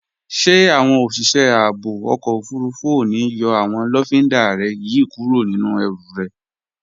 Ṣé àwọn òṣìṣẹ́ ààbò ọkọ̀ òfurufú ò ní yọ àwọn lọ́findà rẹ yí kúrò nínú ẹrù rẹ?